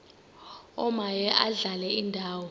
omaye adlale indawo